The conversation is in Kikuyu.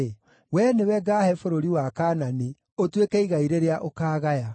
“Wee nĩwe ngaahe bũrũri wa Kaanani, ũtuĩke igai rĩrĩa ũkaagaya.”